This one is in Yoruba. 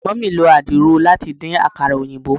Mummy lo adiro lati din akara oyinbo